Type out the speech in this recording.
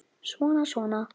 Svona, svona